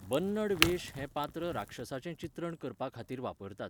बन्नड वेश हें पात्र राक्षसांचें चित्रण करपाखातीर वापरतात.